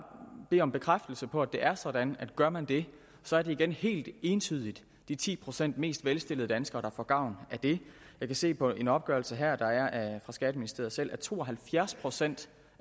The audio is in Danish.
bede om en bekræftelse på at det er sådan at gør man det så er det igen helt entydigt de ti procent mest velstillede danskere får gavn af det jeg kan se på en opgørelse her der er fra skatteministeriet selv at to og halvfjerds procent